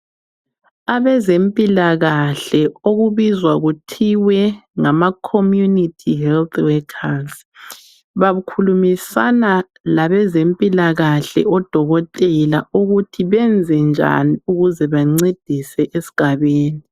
Abezempilakahle okubizwa kuthiwe ngama 'community health workers' bakhulumisana labezempilakahle odokotela ukuthi benze njani ukuze bencedise es'gabeni.